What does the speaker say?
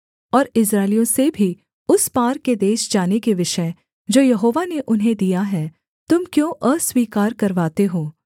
और इस्राएलियों से भी उस पार के देश जाने के विषय जो यहोवा ने उन्हें दिया है तुम क्यों अस्वीकार करवाते हो